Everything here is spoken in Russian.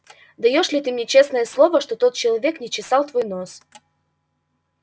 даёшь ли ты мне честное слово что тот человек не чесал твой нос